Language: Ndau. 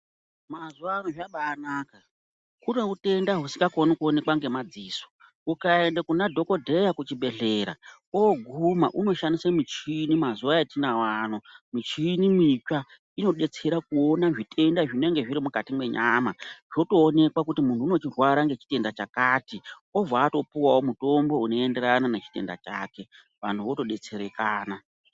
Mazuvano zvabanaka, kune utenda husikakoni kuoneka ngemadziso, ukaenda kunadhokodheya kuchibhedhleya oguma unoshandise muchini mazuva atinawo ano, michini mitsva inodetsere kuona zvitenda zvinenge zviri mukati mwenyama zvotoonekwa kuti muntu unorwara ngechitenda chakati obva atopuwawo mutombo unoenderana nechitenda chake vantu votodetserekana.